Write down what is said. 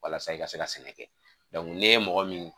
Walasa i ka se ka sɛnɛ kɛ n'i ye mɔgɔ min